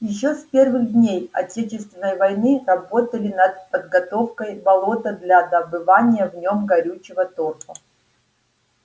ещё с первых дней отечественной войны работали над подготовкой болота для добывания в нём горючего торфа